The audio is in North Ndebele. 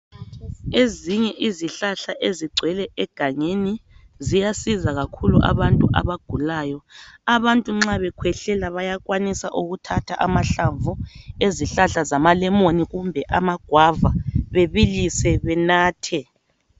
Ezinye izihlahla ezigcwele engangeni ziyasiza kakhulu abantu abagulayo. Abantu nxa bekhwehlela bayakwanisa ukuthatha amahlamvu ezihlahla zama lemoni kumbe amagwava bebilise benathe.